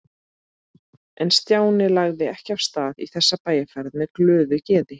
En Stjáni lagði ekki af stað í þessa bæjarferð með glöðu geði.